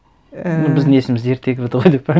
ііі ну біздің есіміз ерте кірді ғой деп пе